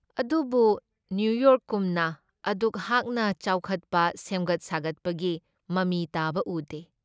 ꯑꯗꯨꯕꯨ ꯅꯤꯌꯨꯌꯣꯔꯛꯀꯨꯝꯅ ꯑꯗꯨꯛ ꯍꯥꯛꯅ ꯆꯥꯎꯈꯠꯄ, ꯁꯦꯝꯒꯠ ꯁꯥꯒꯠꯄꯒꯤ ꯃꯃꯤ ꯇꯥꯕ ꯎꯗꯦ ꯫